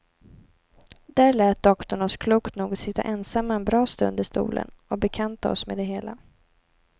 Där lät doktorn oss klokt nog sitta ensamma en bra stund i stolen och bekanta oss med det hela.